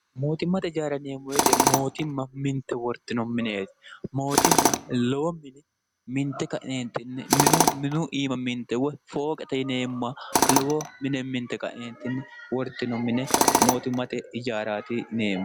mootimmate jaaraneeemmowete mootimma minte wortino mineeti mootimma lowo mine minte ka'neentinni minu minu iima minte woy fooqata ineemma lowo mine minte qa'neentinni wortino mine mootimmate ijaaraatineemmo